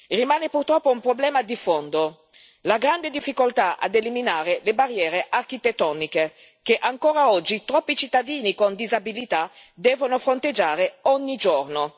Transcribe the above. Rimane purtroppo un problema di fondo la grande difficoltà a eliminare le barriere architettoniche, che ancora oggi troppi cittadini con disabilità devono fronteggiare ogni giorno.